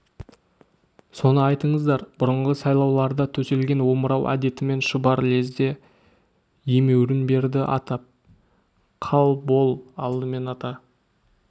соны айтыңыздар бұрынғы сайлауларда төселген омырау әдетімен шұбар лезде емеурін берді атап қал бол алдымен ата